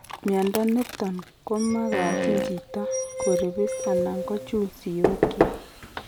Mnyondo niton komagachin chito ko ribis anan ko kochul siok kyik